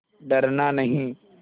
डरना नहीं